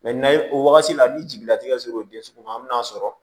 n'a ye o wagati la ni jigila tikɛ ser'o den sugu ma an bɛ n'a sɔrɔ